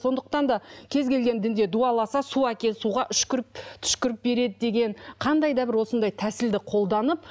сондықтан да кез келген дінде дуаласа су әкел суға үшкіріп түшкіріп береді деген қандай да бір осындай тәсілді қолданып